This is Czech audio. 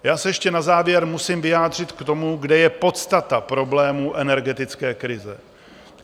Já se ještě na závěr musím vyjádřit k tomu, kde je podstata problému energetické krize.